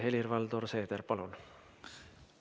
Helir-Valdor Seeder, palun!